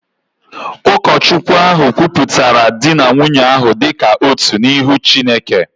Ụkọchukwu ahụ kwupụtara di na nwunye ahụ dị ka otu n’ihu Chineke